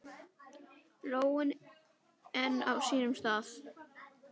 Lóin enn á sínum stað.